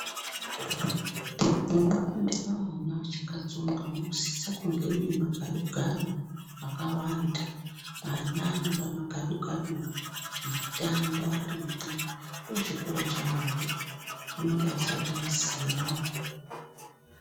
Munofundire ana achakatsonga munosise kunge mune magadu gadu akawanda. Ana anode magadu gadu ekutambavarimwo ndochikora chavo vanenge vasati vaziyawo.